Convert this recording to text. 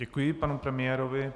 Děkuji panu premiérovi.